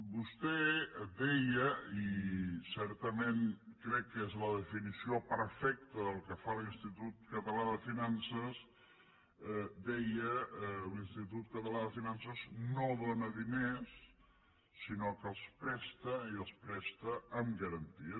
vostè deia i certament crec que és la definició perfecta del que fa l’institut català de finances deia l’institut català de finances no dóna diners sinó que els presta i els presta amb garanties